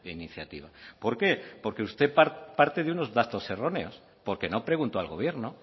iniciativa por qué porque usted parte de unos datos erróneos porque no preguntó al gobierno